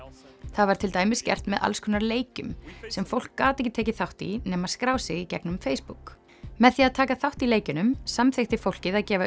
það var til dæmis gert með alls konar leikjum sem fólk gat ekki tekið þátt í nema að skrá sig í gegnum Facebook með því að taka þátt í leikjunum samþykkti fólkið að gefa